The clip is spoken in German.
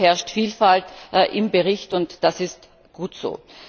Hier herrscht Vielfalt im Bericht, und das ist gut so.